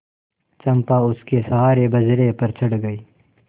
चंपा उसके सहारे बजरे पर चढ़ गई